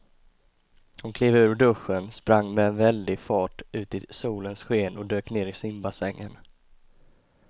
Hon klev ur duschen, sprang med väldig fart ut i solens sken och dök ner i simbassängen.